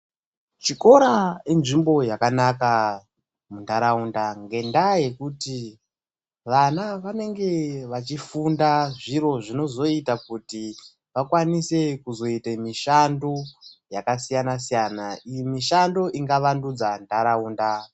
Chikora inzvimbo yakanaka muntaraunda. Ngendaa yekuti vana vanenge vachifunda zviro zvinozoita kuti vakwanise kuzvoita mishando yakasiyana-siyana, mishando inga vandudza ntaraunda.